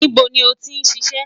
Nibo ni o ti ṣiṣẹ?